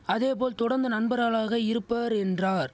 அதே போல் தொடந்து நண்பர்களாக இருப்பர் என்றார்